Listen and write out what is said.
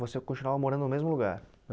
Você continuava morando no mesmo lugar?